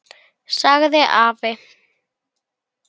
sagði afi.